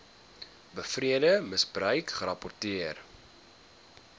beweerde misbruik gerapporteer